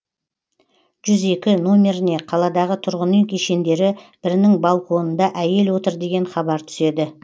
жүз екі номеріне қаладағы тұрғын үй кешендері бірінің балконында әйел отыр деген хабар түседі